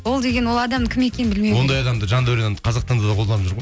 ол деген ол адам кім екен ондай адамды жандәурен қазақстанда да қолданып жүр ғой